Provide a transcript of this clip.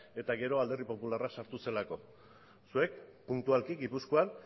eta gero alderdi popularra sartu zelako zeuek puntualki gipuzkoan